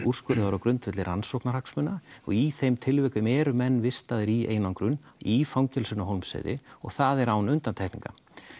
úrskurðaðir á grundvelli rannsóknarhagsmuna og í þeim tilvikum eru menn vistaðir í einangrun í fangelsinu á Hólmsheiði og það er án undantekninga